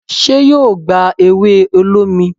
ṣe yíò gbá ewe olómi?